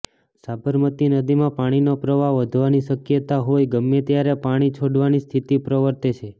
સાબરમતી નદીમાં પાણીનો પ્રવાહ વધવાની શક્યતા હોઇ ગમે ત્યારે પાણી છોડવાની સ્થિતિ પ્રવર્તે છે